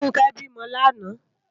Funke bi mò làná